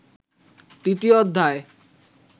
তৃতীয় অধ্যায়